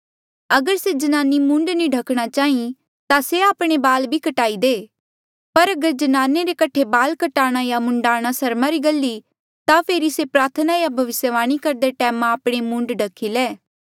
अगर से ज्नानी मूंड नी ढखणा चाहीं ता से आपणे बाल भी काटी दे पर अगर ज्नाने रे कठे बाल कटाणा या मूंडाणां सरमा री गल ई ता फेरी से प्रार्थना या भविस्यवाणी करदे टैम आपणा मूंड ढख्ही ले